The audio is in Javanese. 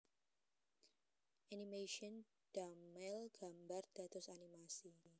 Animation damel gambar dados animasi